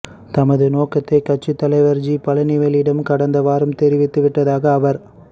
தமது நோக்கத்தை கட்சித் தலைவர் ஜி பழனிவேலிடம் கடந்த வாரம் தெரிவித்து விட்டதாக அவர்